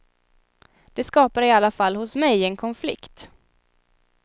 Det skapar i alla fall hos mig en konflikt.